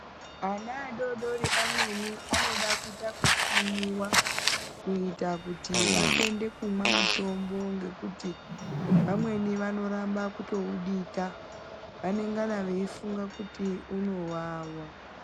Ana adodori amweni anoda kuita kutsvinyiwa, kuita kuti vatende kumwa mitombo ngekuti vamweni vanoramba kutowudika. Vanengana veyifunga kuti unowawa.